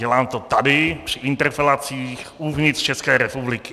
Dělám to tady při interpelacích uvnitř České republiky.